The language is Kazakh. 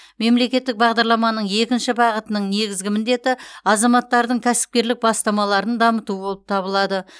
мемлекеттік бағдарламаның екінші бағытының негізгі міндеті азаматтардың кәсіпкерлік бастамаларын дамыту болып табылады